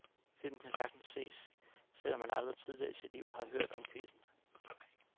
Filmen kan sagtens ses, selv om man aldrig tidligere i sit liv har hørt om quizzen.